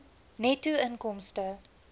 netto inkomste